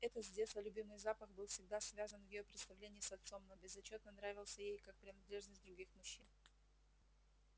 этот с детства любимый запах был всегда связан в её представлении с отцом но безотчётно нравился ей как принадлежность других мужчин